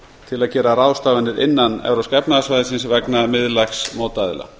til að gera ráðstafanir innan evrópska efnahagssvæðisins vegna miðlægs mótaðila